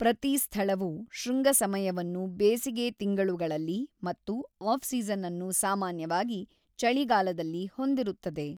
ಪ್ರತಿ ಸ್ಥಳವೂ ಶೃಂಗ ಸಮಯವನ್ನು ಬೇಸಿಗೆ ತಿಂಗಳುಗಳಲ್ಲಿ ಮತ್ತು ಆಫ್-ಸೀಸನ್ ಅನ್ನು ಸಾಮಾನ್ಯವಾಗಿ ಚಳಿಗಾಲದಲ್ಲಿ ಹೊಂದಿರುತ್ತದೆ.